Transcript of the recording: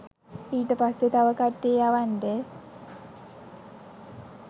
ඊට පස්සේ තව කට්ටිය යවන්ඩ